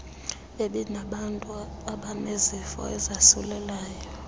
ebinabantu abanezifo ezasulelayo